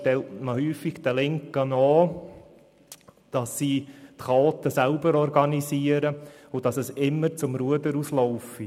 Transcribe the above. Man unterstellt oft den Linken, dass sie die Chaoten selber organisierten und dass es immer aus dem Ruder laufe.